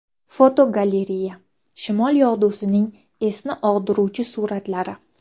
Fotogalereya: Shimol yog‘dusining esni og‘diruvchi suratlari.